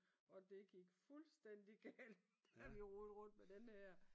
Og det gik fuldstændig galt da vi rodede rundt med den her